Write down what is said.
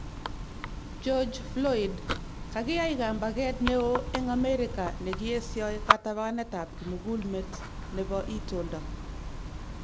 George Floyd:Kakiyai kambaget neo eng Amerika nekiesio katabanetab kimukulmet nebo itondo